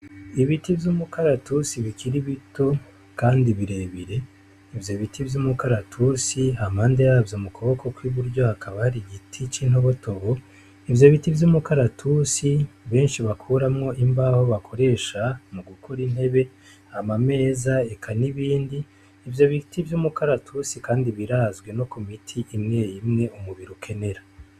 Ibiti vy'umukaratusi bikiri bito kandi birebire, ivyo biti vy'umikaratusi hampande yavyo mu kuboko kw'iburyo hakaba hari igiti c'intobotobo, ivyo biti vy'umukaratusi benshi bakuramwo imbaho bakoresha mu gukora intebe, ama meza eka n'ibindi. Ivyo biti vy'umukaratusi kandi birazwi no ku miti imwe imwe umubiri ukenera.